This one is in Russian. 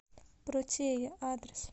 протея адрес